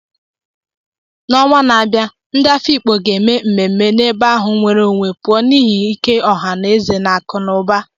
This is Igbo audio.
N'ọnwa na-abịa, ndị Afikpo ga-eme mmemme n'ebe ahụ nnwere onwe pụọ n'ihe ike ọha na eze na akụ na ụba.